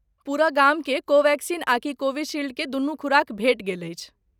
पूरा गामकेँ कोवैक्सीन आकि कोविशील्ड के दुनू खुराक भेट गेल अछि।